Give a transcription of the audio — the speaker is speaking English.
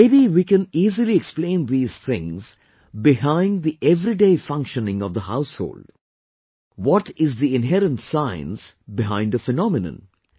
Maybe we can easily explain these things behind the everyday functioning of the household, what is the inherent science behind a phenomenon